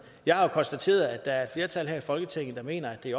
jeg har konstateret at der er flertal her i folketinget der mener at det